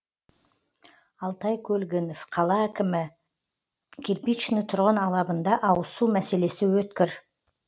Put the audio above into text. алтай көлгінов қала әкімі кирпичный тұрғын алабында ауызсу мәселесі өткір